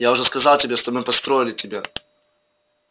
я уже сказал тебе что мы построили тебя